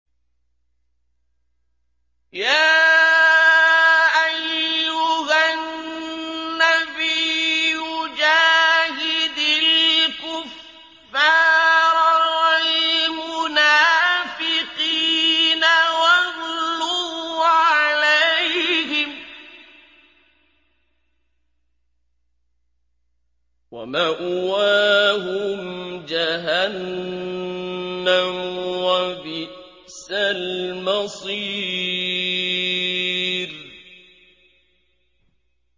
يَا أَيُّهَا النَّبِيُّ جَاهِدِ الْكُفَّارَ وَالْمُنَافِقِينَ وَاغْلُظْ عَلَيْهِمْ ۚ وَمَأْوَاهُمْ جَهَنَّمُ ۖ وَبِئْسَ الْمَصِيرُ